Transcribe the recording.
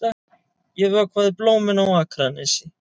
Ég vökvaði blómin á Akranesi.